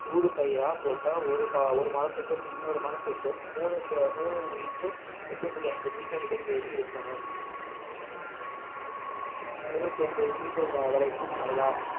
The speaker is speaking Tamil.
ஊடுபயிரா போட்டா ஒரு மரத்துக்கும் இன்னொரு மரத்துக்கும் மூனு into ரெண்டு புள்ளி ஐந்து metre இடைவெளி இருக்கணும் இருநூற்று ஐம்பது meter வரைக்கும் நடலாம்